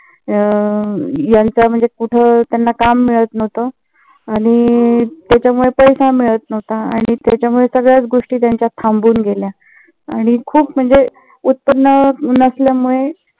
अं यांच म्हणजे कुठे त्यांना काम मिळत नव्हत. त्याच्यामुळे पैसा मिळत नव्हता आणि त्याच्या मुळे सगळ्याच गोष्टी त्यांच्या थांबून गेल्या आणि खूप म्हणजे उत्पन्न नसल्यामुळे